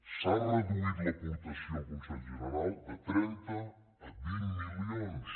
s’ha reduït l’aportació al con·sell general de trenta a vint milions